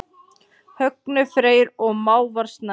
Högni Freyr og Hávar Snær.